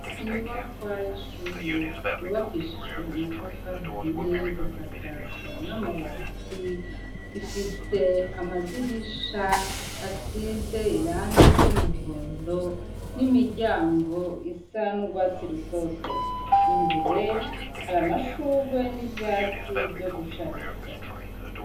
Inyubakwa y'ishure yubakishijwe amatafari ahiye, igasakazwa n'amabati. Ifise amadirisha asize irangi ry'umuhondo n'imiryango isa n'urwatsi rutoto. Imbere hari amashurwe n'ivyatsi vyo gushariza.